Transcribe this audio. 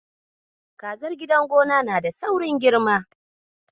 Kazar gidan gona na da saurin girma.